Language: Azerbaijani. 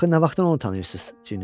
Axı nə vaxtdan onu tanıyırsınız?